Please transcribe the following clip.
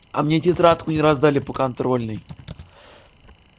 а мне тетрадку не раздали по контрольной